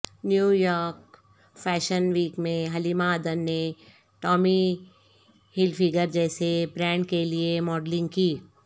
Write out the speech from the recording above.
New York fashion week میں Halima Aden نے Tommy Hilfiger جیسے برینڈ کے لیے ماڈلنگ کی